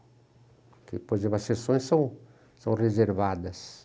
Porque, por exemplo, as sessões são são reservadas.